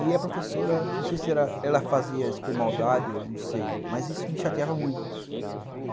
E a professora, não sei se ela fazia isso por maldade ou não sei, mas isso me chateava muito.